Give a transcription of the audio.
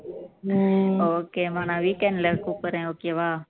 உம் okay மா நான் weekend ல கூப்பிடுறேன் okay வா